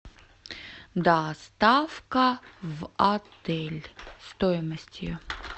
доставка в отель стоимость ее